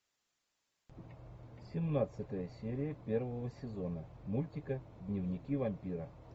семнадцатая серия первого сезона мультика дневники вампира